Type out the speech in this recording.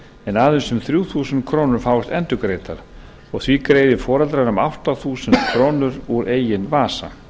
en aðeins um þrjú þúsund krónur fáist endurgreiddar og því greiði foreldrar um átta þúsund krónur úr eigin vasa